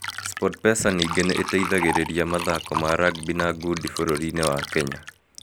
Sportpesa ningĩ nĩ ĩteithagĩrĩria mathako ma rugby na gundi bũrũri-inĩ wa Kenya.